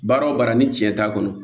Baara o baara ni cɛn t'a kɔnɔ